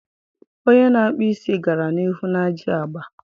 Onye na-akpụ isi gara n'ihu n'ajị agba.